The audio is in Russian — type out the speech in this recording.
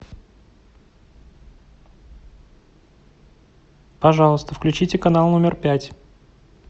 пожалуйста включите канал номер пять